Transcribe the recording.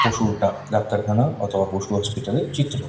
পশুর ডা-ডাক্তার খানা অর্থ্যাৎ পশু হসপিটালের চিত্র।